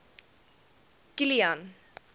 kilian